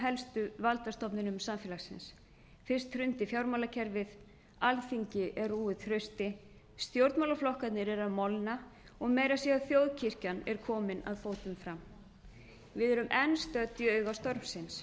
helstu valdastofnunum samfélagsins fyrst hrundi fjármálakerfið alþingi er rúið trausti stjórnmálaflokkarnir eru að molna og meira að segja þ þjóðkirkjan er komin að fótum fram við erum enn